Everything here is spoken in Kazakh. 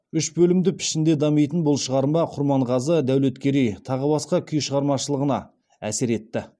үш бөлімді пішінде дамитын бұл шығарма құрманғазы дәулеткерей тағы басқа күй шығармашылығына әсер етті